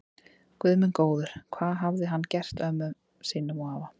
Guð minn góður, hvað hafði hann gert afa sínum og ömmu.